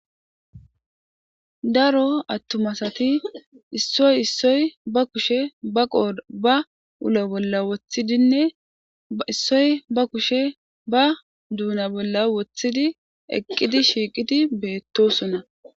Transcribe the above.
Daro atuma asati issiti issoyi ba kushe ba qodhe ba wula bola woththidnne issoyi ba kushe ba duna bola wothid eqidi shiqiddi betosona